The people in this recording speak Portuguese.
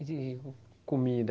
comida?